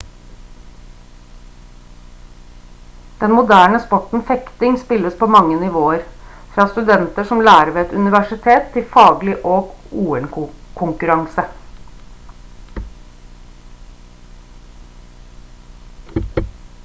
den moderne sporten fekting spilles på mange nivåer fra studenter som lærer ved et universitet til faglig og ol-konkurranse